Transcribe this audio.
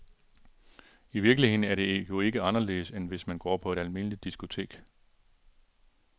I virkeligheden er det jo ikke anderledes, end hvis man går på et almindeligt diskotek.